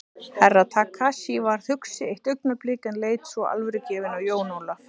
Herra Takashi varð hugsi eitt augnablik en leit svo alvörugefinn á Jón Ólaf.